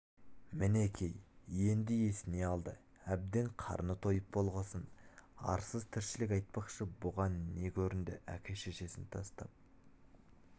мінеки енді есіне алды әбден қарны тойып болғасын арсыз тіршілік айтпақшы бұған не көрінді әке-шешесін тастап